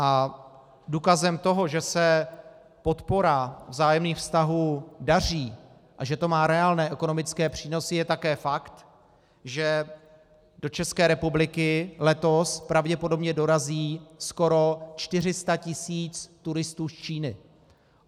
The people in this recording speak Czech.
A důkazem toho, že se podpora vzájemných vztahů daří a že to má reálné ekonomické přínosy, je také fakt, že do České republiky letos pravděpodobně dorazí skoro 400 tisíc turistů z Číny.